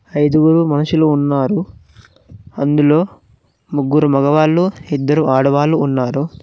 ఐదుగురు మనుషులు ఉన్నారు అందులో ముగ్గురు మగవాళ్ళు ఇద్దరు ఆడవాళ్లు ఉన్నారు.